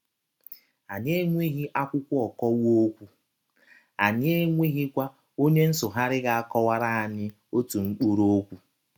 Anyị enweghị akwụkwọ ọkọwa ọkwụ, anyị enweghịkwa ọnye nsụgharị ga - akọwara anyị ọtụ mkpụrụ ọkwụ. ”